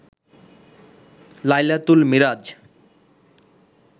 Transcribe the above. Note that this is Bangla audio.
লাইলাতুল মিরাজ